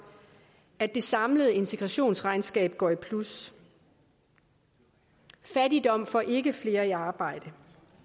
at det samlede integrationsregnskab går i plus fattigdom får ikke flere i arbejde